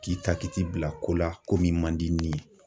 K'i ta k'i t'i bila ko la ko min man di ni